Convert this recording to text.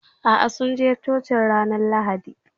Aa, sun je Cocin ranar Lahadi.